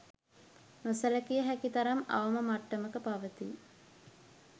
නොසැලකිය හැකි තරම් අවම මට්ටමක පවතී.